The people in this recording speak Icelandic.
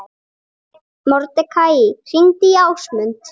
Mordekaí, hringdu í Ásmund.